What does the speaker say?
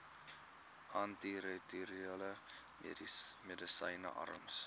antiretrovirale medisyne arms